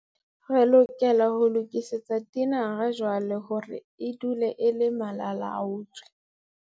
Re lokela ho lokisetsa tinara jwale hore e dule e le malalaalaotswe.